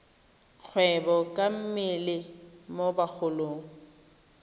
kgwebo ka mmele mo bagolong